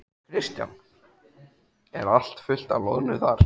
Kristján: Er allt fullt af loðnu þar?